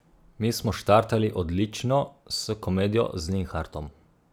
Mi smo štartali odlično s komedijo z Linhartom.